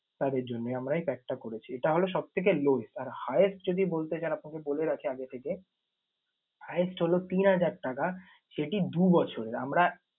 তাদের জন্যে আমরা এই pack টা করেছি। এটা হল সবথেকে lowest । আর highest যদি বলতে চান আপনাকে বলে রাখি আগে থেকে highest হল তিন হাজার টাকা এটি দু বছরের। আমরা